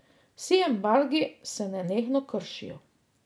Vsi embargi se nenehno kršijo.